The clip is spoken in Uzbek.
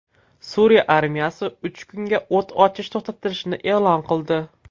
Suriya armiyasi uch kunga o‘t ochish to‘xtatilishini e’lon qildi.